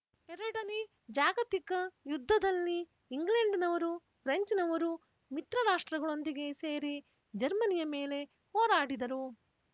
ಎರಡನೇ ಜಾಗತಿಕ ಯುದ್ಧದಲ್ಲಿ ಇಂಗ್ಲೆಂಡ್‍ನವರು ಪ್ರೆಂಚ್‍ನವರು ಮಿತ್ರರಾಷ್ಟ್ರಗಳೊಂದಿಗೆ ಸೇರಿ ಜರ್ಮನಿಯ ಮೇಲೆ ಹೋರಾಡಿದರು